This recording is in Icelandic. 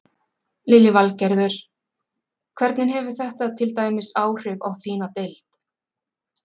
Lillý Valgerður: Hvernig hefur þetta til dæmis áhrif á þína deild?